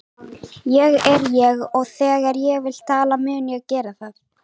Ég er ég og þegar ég vil tala mun ég gera það.